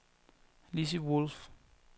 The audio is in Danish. Lissy Wolff